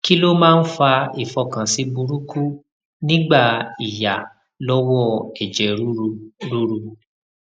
kí ló máa ń fa ifokansi buruku nigba iya lowo eje ruru ruru